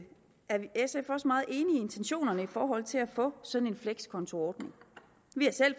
intentionerne i forhold til at få sådan en flekskontoordning vi har selv